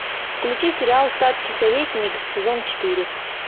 включи сериал статский советник сезон четыре